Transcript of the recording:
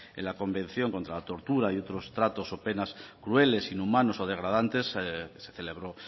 en la convección contra la tortura y otros tratos o penas crueles inhumanos o degradantes se celebró